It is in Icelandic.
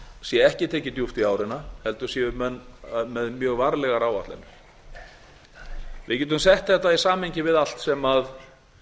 sé ekki tekið djúpt í ára heldur séu menn með mjög varlegar áætlanir við getum sett þetta í samhengi við